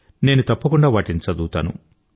నేను తప్పకుండా వాటిని చదువుతాను